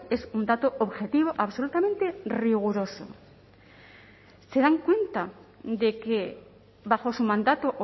es un dato objetivo absolutamente riguroso se dan cuenta de que bajo su mandato